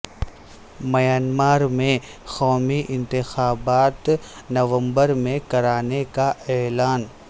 Myanmar میں قومی انتخابات نومبر میں کرانے کا اعلان